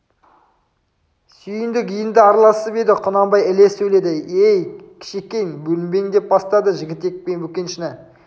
сүйіндік енді араласып еді құнанбай іле сөйледі ей кішекең бөбең деп бастады жігітек пен бөкеншіні